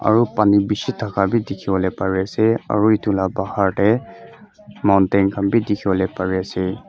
aro Pani bishi taka bi dikipolae pari asae aro etulaka bahar dae mountain khan bi dikipolae pari asae.